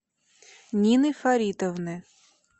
нины фаритовны